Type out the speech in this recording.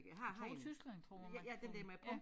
Jeg tror Tyskland tror jeg man kan få den